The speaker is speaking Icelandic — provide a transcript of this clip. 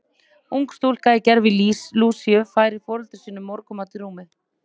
Ung stúlka í gervi Lúsíu færir foreldrum sínum morgunmat í rúmið.